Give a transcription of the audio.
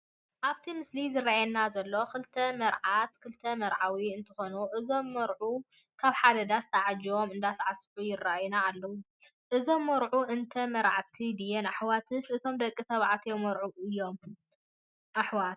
ኣብቲ ምስሊ ዝረአየና ዘሎ ክልተ ማርሓትን ክልተ መርዓውን እንትኮኑ እዞም መርዑ ካብ ሓደ ዳስ ተዓጂቦም እንዳሳዕስዑ ይረአዩና ኣለዉ። እዞም መርዑ እተን መርዓዕቲ ድየን ኣሕዋትስ እቶም ደቂ ተባዕትዮ መርዑ ኣየነኦም እዮም ኣሕዋት?